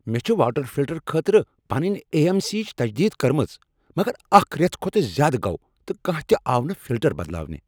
مےٚ چھ water filter خٲطرٕ پنٕنۍ اے، ایم، سی، یچ تجدید کٕرمٕژ مگر اکھ ریتھ کھۄتہٕ زیادٕ گوو تہٕ کانٛہہ تِہ آو نہٕ فلٹر بدلاونہِ۔